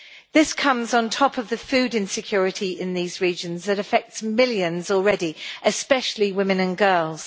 This comes on top of the food insecurity in these regions that affects millions already, especially women and girls.